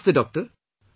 Namaste Doctor